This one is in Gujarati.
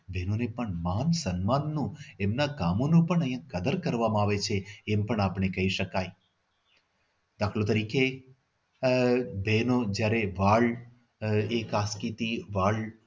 બહેનો ને પણ મન સન્માન નું એમના કામોનું પણ અહી કદર કરવામાં આવે છે એમ પણ આપણે કહી શકાય દાખલા તરીકે આહ જેનો જ્યાર વાળ એક આખો વાળ જયારે